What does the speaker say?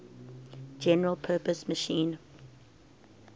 general purpose machine